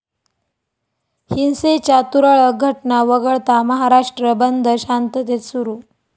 हिंसेच्या तुरळक घटना वगळता महाराष्ट्र बंद शांततेत सुरू